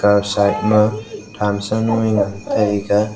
kaw side ma tham sa jownu ngan taiga.